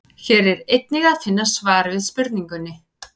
Hér er einnig að finna svar við spurningunni: